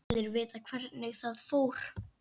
Allir vita hvernig það fór.